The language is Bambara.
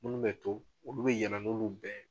Minnu bɛ to olu bɛ ɲana n'olu bɛɛ ye.